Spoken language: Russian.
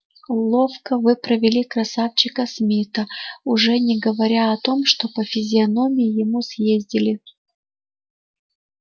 ловко вы провели красавчика смита уж не говоря о том что по физиономии ему съездили